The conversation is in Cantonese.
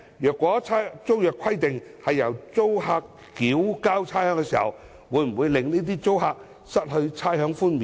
如果租約規定由租客繳交差餉，會否令這些租客失去差餉寬免？